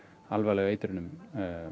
alvarlegu eitrunum